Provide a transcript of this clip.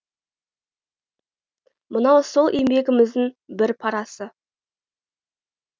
мынау сол еңбегіміздің бір парасы